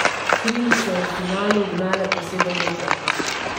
Krim so v finalu ugnale po sedemmetrovkah.